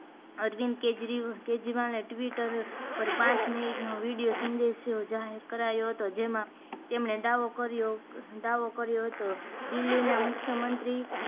અરવિંદ કેજરીવાલ ને Twitter પર પાંચ મીનીટ નો વિડિયો સંદેશ જાહેર કરાયો હતો જેમાં તેમણે દાવો દાવો કર્યો હતો દિલ્હી ના મુખ્યમંત્રી